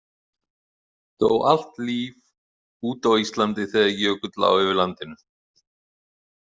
Dó allt líf út á Íslandi þegar jökull lá yfir landinu?